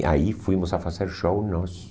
E aí fomos a fazer show nós.